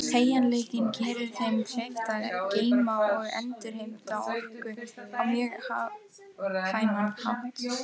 Teygjanleikinn gerir þeim kleift að geyma og endurheimta orku á mjög hagkvæman hátt.